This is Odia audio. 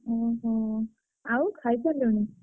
ଓହୋ! ଆଉ ଖାଇସାରିଲୁଣି?